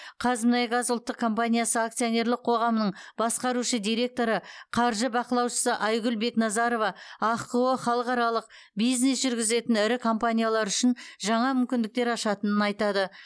қазмұнайгаз ұлттық компаниясы акционерлік қоғамының басқарушы директоры қаржы бақылаушысы айгүл бекназарова ахқо халықаралық бизнес жүргізетін ірі компаниялар үшін жаңа мүмкіндіктер ашатынын айтады